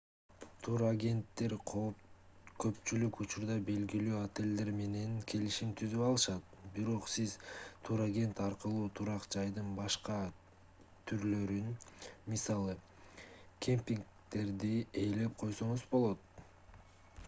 турагенттер көпчүлүк учурда белгилүү отелдер менен келишим түзүп алышат бирок сиз турагент аркылуу турак жайдын башка түрлөрүн мисалы кемпингдерди ээлеп койсоңуз болот